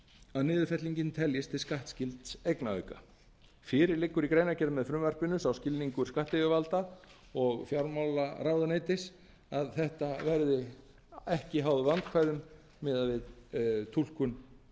að niðurfellingin teljist til skattskylds eignaauka fyrir liggur í greinargerð með frumvarpinu sá skilningur skattyfirvalda og fjármálaráðuneytis að þetta verði ekki háð vandkvæðum miðað við túlkun